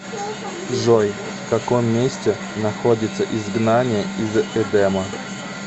джой в каком месте находится изгнание из эдема